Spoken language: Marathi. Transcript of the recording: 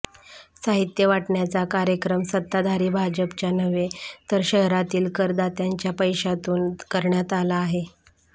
साहित्य वाटण्याचा कार्यक्रम सत्ताधारी भाजपच्या नव्हे तर शहरातील करदात्यांच्या पैशातून करण्यात आला आहे